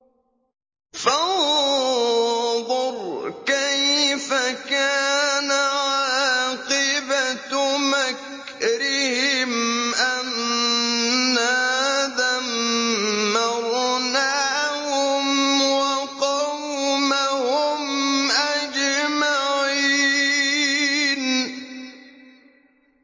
فَانظُرْ كَيْفَ كَانَ عَاقِبَةُ مَكْرِهِمْ أَنَّا دَمَّرْنَاهُمْ وَقَوْمَهُمْ أَجْمَعِينَ